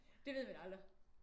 Det ved man aldrig